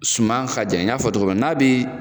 Suman ka jan y'a fɔ tɔgɔ minna n'a bɛ